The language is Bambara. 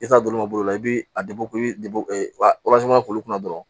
I t'a dɔn olu ma bolo i b'i a i bɛ bɔ k'olu kunna dɔrɔn